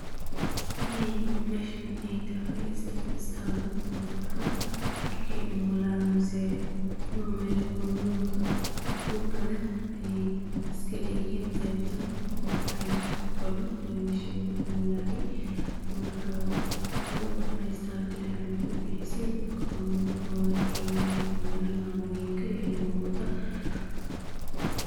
Inay meshan ay tahay istaal dadka markay umylaan mise mamoyinka urka leh ay iskaleyixii gebtaan, mahayele waha kugoraan ini laguumulayo, marka waxay uigtahay iataal dadka dinaca nah ubihisay ona rawaan inay umulaan, mamoyinka iyo ilmahoda.